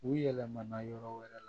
U yɛlɛmana yɔrɔ wɛrɛ la